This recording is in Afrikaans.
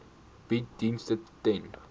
bied dienste ten